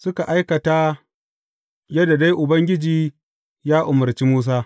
Suka aikata yadda dai Ubangiji ya umarci Musa.